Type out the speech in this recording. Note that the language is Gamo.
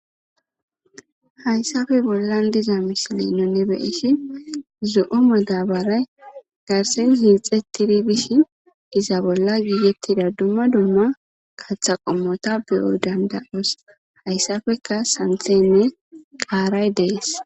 haysafe bollan diza misilinone be'ishi zo7o medabaray garsin ziixetidi bishin giza bolla giyettida dumma dumma katha qommota beyo danda7os hayssafeka santhenne qaaray dees